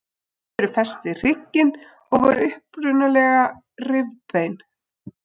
Þau eru fest við hrygginn og voru upprunalega rifbein.